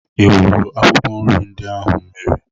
I wụrụ akwụkwọ nri ndị ahụ mmiri?